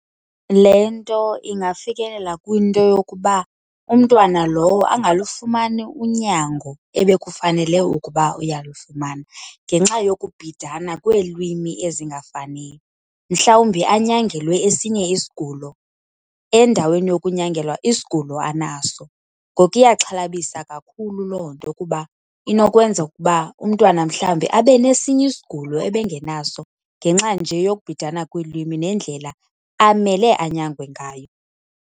Le nto ingafikelela kwinto yokuba umntwana lowo angalufumani unyango ebekufanele ukuba uyalufumana ngenxa yokubhidana kweelwimi ezingafaniyo. Mhlawumbi anyangelwe esinye isigulo endaweni yokunyangelwa isigulo anaso. Ngoku iyaxhalabisa kakhulu loo nto kuba inokwenza ukuba umntwana mhlawumbi abanesinye isigulo ebengenaso ngenxa nje yokubhidana kweelwimi nendlela amele anyangwe ngayo.